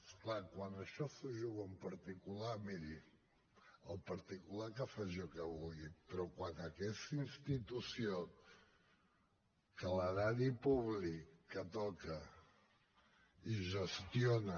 és clar quan això s’ho juga un particular miri el particular que faci el que vulgui però quan aquesta institució que l’erari públic que toca i gestiona